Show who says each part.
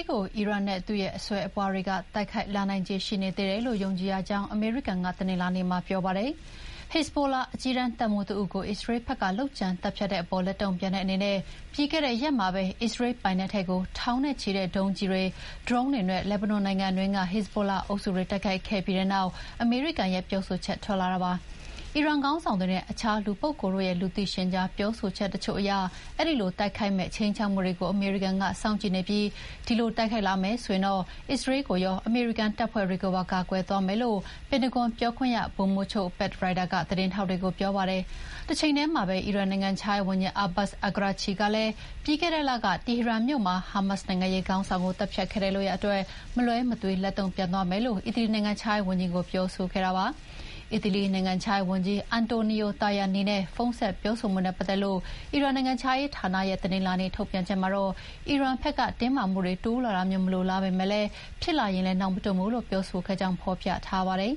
Speaker 1: ်ကို အီရန်နဲ့သူ့အစွယ်အပွားတွေ တိုက်ခိုက်လာနိုင်ခြေရှိနေသေးတယ်လို့ ယုံကြည်ရကြောင်း အမေရိကန်က တနင်္လာနေ့မှာပြောပါတယ်။ ဟက်ဇ်ဘိုလာ အကြီးတန်းတပ်မှူးတဦးကို အစ္စရေးဘက်က လုပ်ကြံသတ်ဖြတ်တဲ့အပေါ် လက်တုံ့ပြန်တဲ့အနေနဲ့ ပြီးခဲ့တဲ့ရက်မှာပဲ အစ္စရေးလ်ပိုက်နက်ထဲကို ထောင်နဲ့ချီတဲ့ဒုံးကျည်တွေ၊ ဒရုန်းတွေနဲ့ လက်ဘနွန်နိုင်ငံအတွင်းက ဟက်ဇ်ဘိုလာအုပ်စုတွေတိုက်ခိုက်ခဲ့ပြီးတဲ့နောက် အမေရိကန်ရဲ့ ပြောဆိုချက်ထွက်လာတာပါ။ အီရန်ခေါင်းဆောင်တွေနဲ့ အခြားလူပုဂ္ဂိုလ်တို့ရဲ့ လူသိရှင်ကြားပြောဆိုချက်တချို့အရ အဲဒီလို တိုက်ခိုက်မယ့် ခြိမ်းခြောက်မှုတွေကို အမေရိကန်က စောင့်ကြည့်နေပြီး အဲဒီလိုတိုက်ခိုက်လာမယ်ဆိုရင် အစ္စရေးလ်ကိုရော အမေရိကန်တပ်ဖွဲ့တွေကိုပါ ကာကွယ်သွားမယ်လို့ ပင်တဂွန်ပြောခွင့်ရ ဗိုလ်မှူးချုပ် Pat Ryder က သတင်းထောက်တွေကိုပြောပါတယ်။ တချိန်တည်းမှာပဲ အီရန်နိုင်ငံခြားရေးဝန်ကြီး Abbas Araghchi ကလည်း ပြီးခဲ့တဲ့လကတီဟီရန်မြို့မှာ ဟာမတ်စ် နိုင်ငံရေးခေါင်းဆောင်ကိုသတ်ဖြတ်ခဲ့တဲ့လုပ်ရပ်အတွက် မလွဲမသွေ လက်တုံ့ပြန်သွားမယ်လို့ အီတလီ နိုင်ငံခြားရေးဝန်ကြီးကို ပြောခဲ့ပါတယ်။အီတလီနိုင်ငံခြားရေးဝန်ကြီး အန်တိုနီယို တာယာနီနဲ့ ဖုန်းဆက်ပြောဆိုမှုနဲ့ ပတ်သက်လို့ အီရန်နိုင်ငံခြားရေးဌာနရဲ့ တနင်္လာနေ့ထုတ်ပြန်ချက်မှာတော့ အီရန်ဘက်က တင်းမာမှုတွေ တိုးလာတာမျိုးမလိုလားပေမယ့် ဖြစ်လာရင်လည်းနောက်မတွန့်ဘူးလို့ ပြောဆိုခဲ့ကြောင်း ဖော်ပြထားပါတယ်